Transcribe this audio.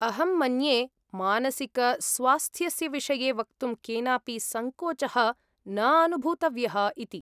अहं मन्ये मानसिकस्वास्थ्यस्य विषये वक्तुं केनापि सङ्कोचः न अनुभूतव्यः इति।